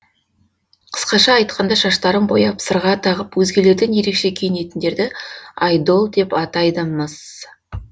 қысқаша айтқанда шаштарын бояп сырға тағып өзгелерден ерекше киінетіндерді айдол деп атайды міс